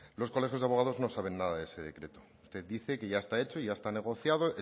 los colegios de abogados no saben nada sobre ese decreto usted dice que ya está hecho y ya está negociado